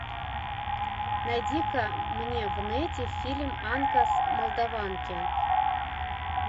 найди ка мне в нете фильм анка с молдованки